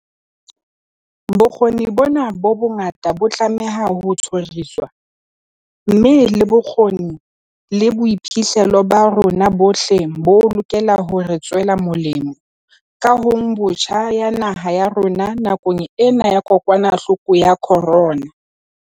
Bokgoni bona bo bongata bo tlameha ho tjhoriswa, mme le bokgoni le boiphihlelo ba rona bohle bo lokela hore tswela molemo kahongbotjha ya naha ya rona nakong ena ya kokwanahloko ya corona.